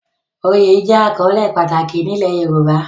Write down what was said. Oyè jẹ́ àkọ́lé pàtàkì ní ilẹ̀ Yorùbá